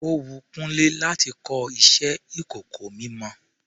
Ó wun Kúnlé láti kọ iṣẹ ìkọ̀kọ̀ mímọ.